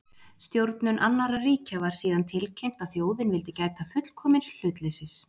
Stjórnum annarra ríkja var síðan tilkynnt, að þjóðin vildi gæta fullkomins hlutleysis